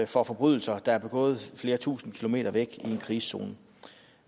for forbrydelser der er begået flere tusinde kilometer væk i en krigszone